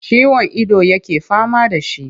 Ciwon ido yake fama da shi.